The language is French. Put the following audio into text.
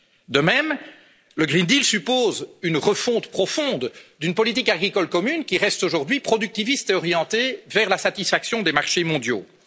De même, le pacte vert suppose une refonte profonde d'une politique agricole commune qui reste aujourd'hui productiviste et orientée vers la satisfaction des marchés mondiaux.